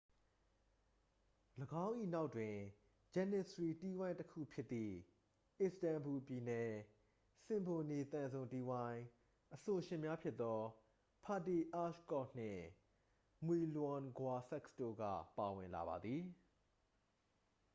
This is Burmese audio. ၎င်း၏နောက်တွင် ဂျနစ္စရီတီးဝိုင်းတစ်ခုဖြစ်သည့် အစ္စတန်ဘူ ပြည်နယ် စင်ဖိုနီ သံစုံတီးဝိုင်း အဆိုရှင်များဖြစ်သော ဖာတီ အာရ်ကော့ နှင့် မွီလွမ် ဂွာဆက်စ် တို့က ဝင်လာပါသည်